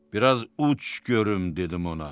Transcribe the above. Bir az uç görüm, dedim ona.